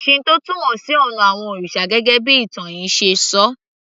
Shinto túmọ̀ sí ònà àwon òrìsà gẹ́gẹ́ bí ìtàn yìí ṣe ṣọ